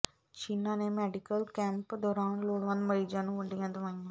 ਛੀਨਾ ਨੇ medical camp ਦੌਰਾਨ ਲੋੜਵੰਦ ਮਰੀਜ਼ਾਂ ਨੂੰ ਵੰਡੀਆਂ ਦਵਾਈਆਂ